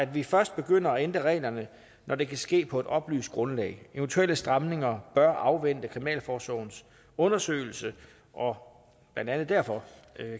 vi først begynder at ændre reglerne når det kan ske på et oplyst grundlag eventuelle stramninger bør afvente kriminalforsorgens undersøgelse og blandt andet derfor